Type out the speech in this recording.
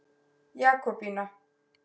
Jakobína